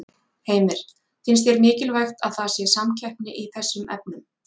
Heimir: Finnst þér mikilvægt að það sé samkeppni í þessum efnum?